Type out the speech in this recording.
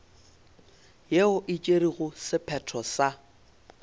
yeo e tšerego sephetho sa